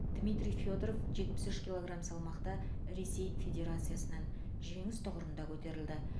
дмитрий федоров жетпіс үш килограмм салмақта ресей федерациясынан жеңіс тұғырында көтерілді